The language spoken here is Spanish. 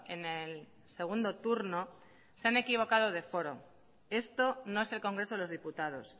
en el segundo turno se han equivocado de foro esto no es el congreso de los diputados